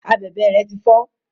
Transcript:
Abèbè rẹ ti fọ.